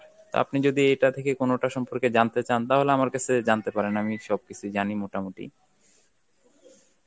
তো আপনি যদি এটা থেকে কোনটা সম্পর্কে জানে চান তাহলে আমার কাছে জানতে পারেন আমি সব কিছুই জানি মোটামুটি